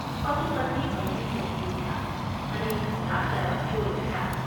પતિપત્ની બંને ચમકી ઊઠ્યાં અને એ ઘડિયાળ તરફ જોઈ રહ્યાં.